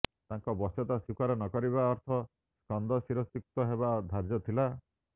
ତାଙ୍କର ବଶ୍ୟତା ସ୍ବୀକାର ନକରିବା ଅର୍ଥ ସ୍କନ୍ଦ ଶିରଚ୍ୟୁତ ହେବା ଧାର୍ଯ୍ୟଥିଲା